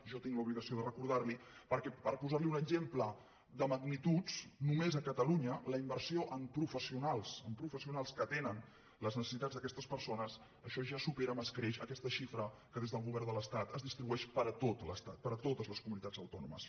jo tinc l’obligació de recordar·li·ho perquè per posar·li un exemple de magnituds només a catalunya la inversió en professionals que atenen les necessitats d’aquestes persones això ja supera amb escreix aquesta xifra que des del govern de l’estat es distribueix per a tot l’estat per a totes les comunitats autònomes